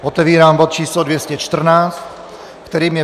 Otevírám bod číslo 214, kterým je